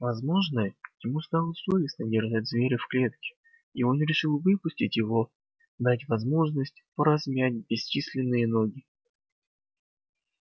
возможно ему стало совестно держать зверя в клетке и он решил выпустить его дать возможность поразмять бесчисленные ноги